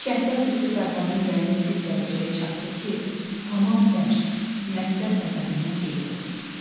Şəhvət hissi Fərhadın ürəyində bir dərəcəyə çatdı ki, tamam dərs, məktəb nəzərindən qeyb oldu.